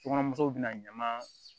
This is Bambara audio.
Sokɔnɔ musow bɛna ɲaman